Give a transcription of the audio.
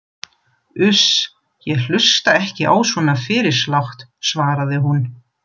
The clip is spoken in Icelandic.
Uss, ég hlusta ekki á svona fyrirslátt, svaraði hún.